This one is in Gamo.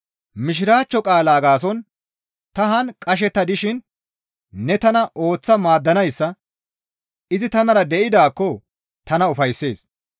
Mishiraachcho qaalaa gaason ta haan qashetta dishin ne tana ooththa maaddanayssa izi tanara de7idaakko tana ufayssees.